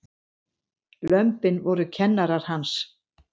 Lömbin voru kennarar hans.